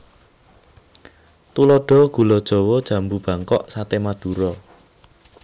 Tuladha gula jawa jambu bangkok saté madura